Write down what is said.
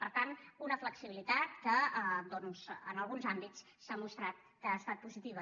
per tant una flexibilitat que en alguns àmbits s’ha mostrat que ha estat positiva